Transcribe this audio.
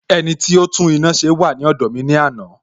Ẹniti ó tún iná ṣe wà ní ọ̀dọ̀ mi ní àná